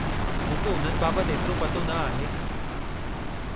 मूंखे उन्हनि बाबतु एतिरो पतो न आहे।